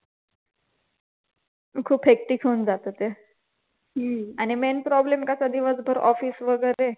खूप hectic होऊन जात ते आणि main problem कसा दिवसभर ऑफिस वगैरे